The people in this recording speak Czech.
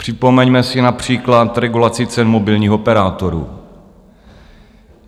Připomeňme si například regulaci cen mobilních operátorů.